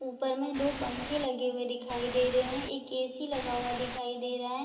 ऊपर में दो पंखे लगे हुए दिखाई दे रहे हैं एक ए.सी. लगा हुआ दिखाई दे रहा है।